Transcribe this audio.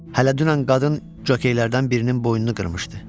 Hələ dünən qadın jokeylərdən birinin boynunu qırmışdı.